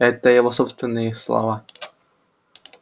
это его собственные слова